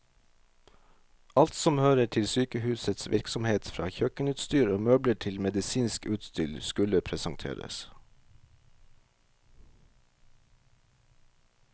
Alt som hører til sykehusets virksomhet, fra kjøkkenutstyr og møbler til medisinsk utstyr, skulle presenteres.